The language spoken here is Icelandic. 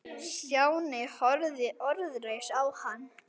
Stjáni horfði orðlaus á hann.